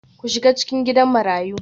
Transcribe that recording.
Ku shiga cikin Gidan Marayu